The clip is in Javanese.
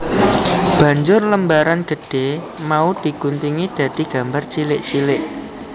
Banjur lembaran gedhé mau di guntingi dadi gambar cilik cilik